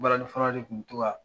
Balani fɔla de kun bi tɔ ka